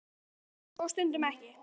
Stundum er ljós og stundum ekki.